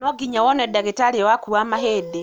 No nginya wone ndagĩtarĩ waku wa mahĩndĩ